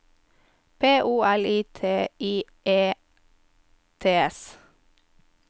P O L I T I E T S